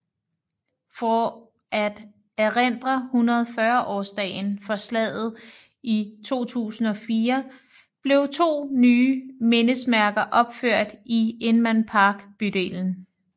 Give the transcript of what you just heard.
For at erindre 140 års dagen for slaget i 2004 blev to nye mindesmærker opført i Inman Park bydelen